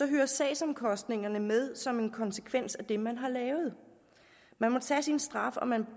hører sagsomkostningerne med som en konsekvens af det man har lavet man må tage sin straf og man